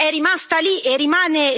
lì. Solo tre paesi hanno aderito.